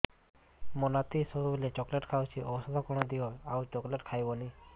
ମୋ ନାତି ସବୁବେଳେ ଚକଲେଟ ଖାଉଛି ଔଷଧ କଣ ଦିଅ ଆଉ ଚକଲେଟ ଖାଇବନି